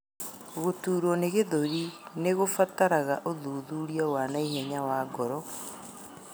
Gũturwo nĩ gĩthũri nĩ ĩbataraga ũthuthuria wa naihenya wa ngoro